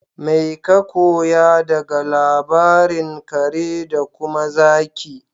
Mai ka koya daga labarin kare da kuma zaki?